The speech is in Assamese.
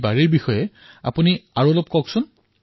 সেইবাবে আপুনি ইয়াৰ বিষয়ে জনতাক কওক